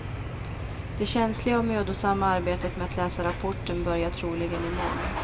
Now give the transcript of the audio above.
Det känsliga och mödosamma arbetet med att läsa rapporten börjar troligen i morgon.